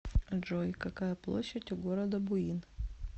джой какая площадь у города буин